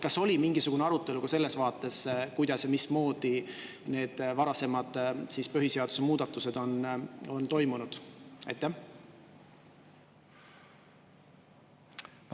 Kas oli mingisugune arutelu ka selles vaates, kuidas ja mismoodi need varasemad põhiseaduse muutmised on toimunud?